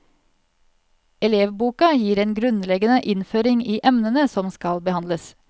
Elevboka gir en grunnleggende innføring i emnene som skal behandles.